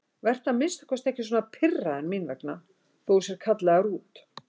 Vertu að minnsta kosti ekki svona pirraður mín vegna þótt þú sért kallaður út.